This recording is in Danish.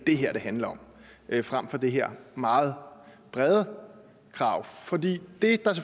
handler om frem for det her meget brede krav for det